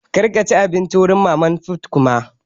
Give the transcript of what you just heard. Kar ka ci abinci wurin mama fut koma!